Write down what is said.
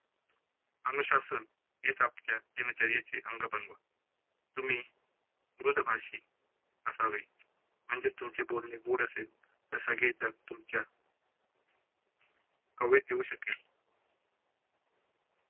अनुशासन हेच आपल्या दिनचर्येचे अंग बनवा. तुम्ही मृधभाषी असावे म्हणजे तुमची बोलणी गोड असेल तर सगळे जण तुमच्या कवेत येऊ शकेल.